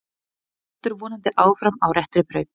Heldur vonandi áfram á réttri braut